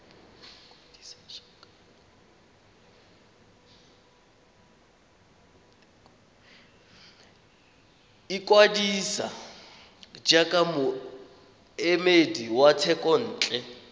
ikwadisa jaaka moemedi wa thekontle